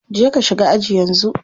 Je ka shiga aji yanzu.